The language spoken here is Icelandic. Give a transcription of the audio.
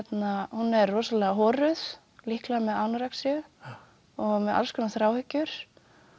hún er rosalega horuð líklega með anorexíu og með alls konar